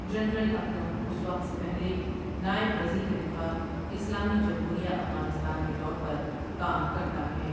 General Akram اس وقت سے پہلے نائب وزیر دفاع، اسلامی جمہوریہ افغانستان کے طور پر کام کرتا ہے ۔